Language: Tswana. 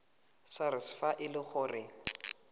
sars fa e le gore